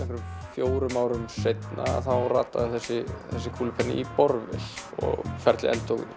fjórum árum síðar þá rataði þessi kúlupenni í borvél og ferlið endurtók